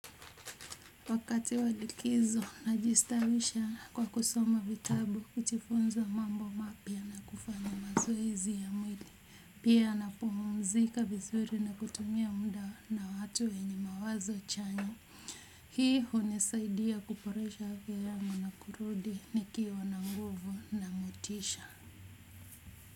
Wakati wa likizo, najistawisha kwa kusoma vitabu, kujifunza mambo mapya, na kufanya mazoezi ya mwili. Pia, napumzika vizuri, na kutumia muda na watu wenye mawazo chanya. Hii hunisaidia kuboresha afya yangu na kurudi nikiwa na nguvu na motisha.